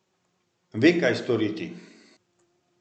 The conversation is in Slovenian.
Ve, kaj storiti.